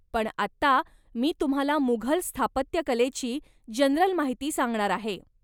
पण आत्ता, मी तुम्हाला मुघल स्थापत्यकलेची जनरल माहिती सांगणार आहे.